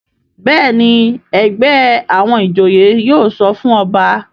Béèni ègbé àwọn ìjòyè yóò sọfún ọba.